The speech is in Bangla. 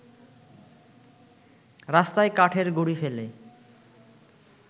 রাস্তায় কাঠের গুঁড়ি ফেলে